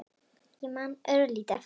Ég man örlítið eftir honum.